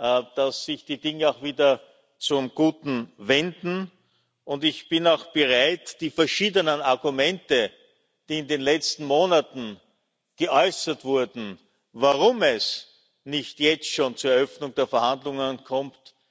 glauben, dass sich die Dinge auch wieder zum Guten wenden, und ich bin auch bereit, die verschiedenen Argumente, die in den letzten Monaten vorgebracht wurden, um zu begründen, warum es nicht jetzt schon zur Eröffnung der Verhandlungen kommt,